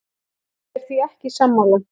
Ég er því ekki sammála.